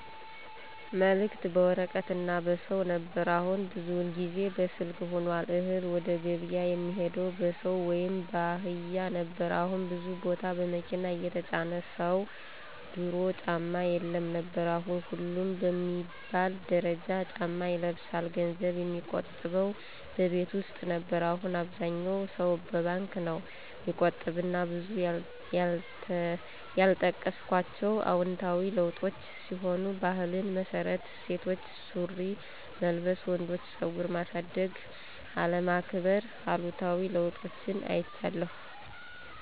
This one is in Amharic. መልክት በወረቀት እና በሰው ነበር አሁን ብዙውን ጊዜ በስልክ ሁኗል፣ እህል ወደገብያ የሚሄደው በሰው ወይም ባህያ ነበር አሁን ብዙ ቦታ በመኪና እየተጫነ ነው፣ ድሮ ጫማ የለም ነበር አሁን ሁሉም በሚባል ደረጃ ጫማ ይለብሳል፣ ገንዘብ የሚቆጠበው በቤት ውስጥ ነበር አሁን አብዛኛው ሰው በባንክ ነው ሚቆጥብ እና ብዙ ያልጠቀስኳቸው አዎንታዊ ለዉጦች ሲሆኑ ባህልን መርሳት፣ ሴቶች ሱሪ መልበስ፣ ወንዶች ፀጉር ማሳደግ፣ አለመከባር ....አሉታዊ ለውጦችን አይቻለሁ።